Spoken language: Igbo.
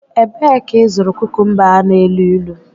Ebee ka ịzụrụ kukumba a na-elu ilu?